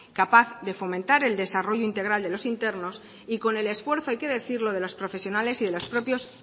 capaz de fomentar el desarrollo integral de los internos y con el esfuerzo hay que decirlo de los profesionales y de los propios